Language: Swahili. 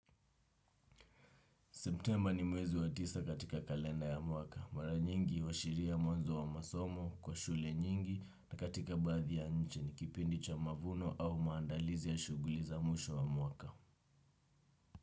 Semptemba ni mwezi wa tisa katika kalenda ya mwaka. Mara nyingi huashiria mwanzo wa masomo kwa shule nyingi na katika baadhi ya nchi. Ni kipindi cha mavuno au maandalizi ya shughuli za mwisho wa mwaka.